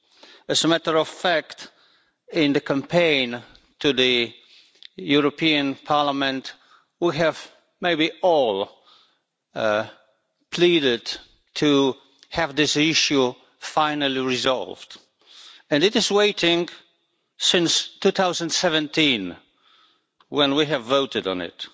As a matter of fact, in the campaign to the European Parliament, we have maybe all pleaded to have this issue finally resolved, and it has been waiting since 2017, when we voted on it.